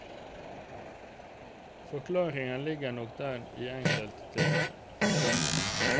Forklaringen ligger nok der i enkelte tilfeller.